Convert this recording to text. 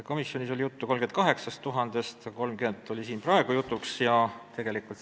Komisjonis oli juttu 38 000-st, siin oli praegu jutuks 30 000.